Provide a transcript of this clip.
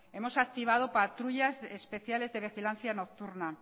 hemos activado patrullas especiales de vigilancia nocturna